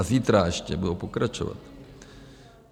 A zítra ještě budou pokračovat.